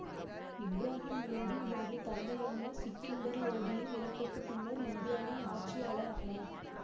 இப்ராகிம் லோடி இவரது தந்தையான சிக்கந்தர் லோடியின் இறப்புக்கு பின்னர் இந்தியாவின் ஆட்சியாளர் ஆனார்